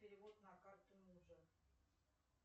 перевод на карту мужа